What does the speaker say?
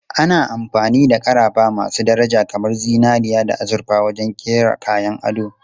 Ana amfani da ƙarafa masu daraja kamar zinariya da azurfa wajen kera kayan ado.